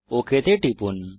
okay তে টিপুন